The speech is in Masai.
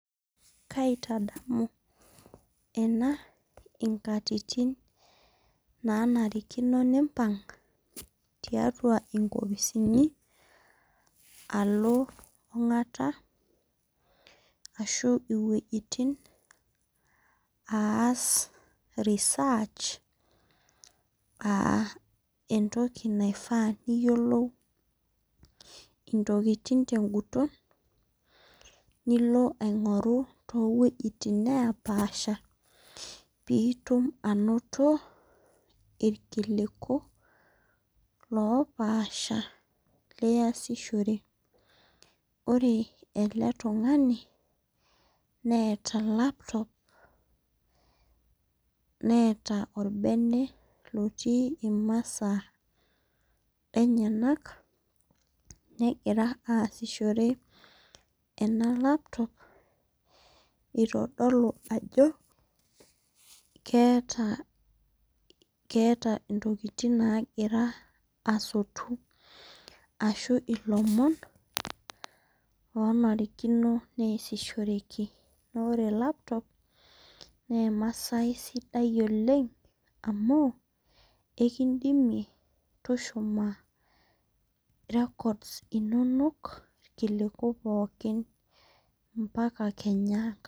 Kaitadamu ena inkatitin naa narikino nimpang' tiatua inkopisini alo ong'atu ashu iwejitin aas research aa entoki naifaa niyiolou intokitin teguton nilo aing'oru too wejitin napaasha pitum anoto irkiliku loopasha liyasishore. Ore ele tung'ani neeta laptop neeta orbene otii imasaa enyenak negira aasishore ena laptop itodolu ajo keeta intokitin nagira asotu ashu ilomon loo narikino neesishoreki. Naa ore laptop naa emasai sidai oleng' amu ikidimie tushumie record s inonok irkiliku pookin mpaka kenya enkata